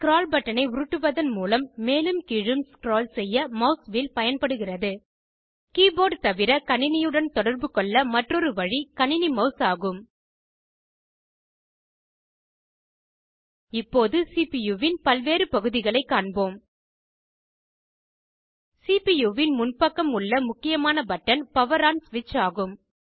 scroll பட்டனை உருட்டுவதன் மூலம் மேலும் கீழும் ஸ்க்ரால் செய்ய மெளஸ் வீல் பயன்படுகிறது கீபோர்ட் தவிர கணினியுடன் தொடர்புகொள்ள மற்றொரு வழி கணினி மெளஸ் ஆகும் இப்போது சிபுயூ வின் பல்வேறு பகுதிகளைக் காண்போம் சிபியூவின் முன்பக்கம் உள்ள முக்கியமான பட்டன் பவர் ஆன் ஸ்விட்ச் ஆகும்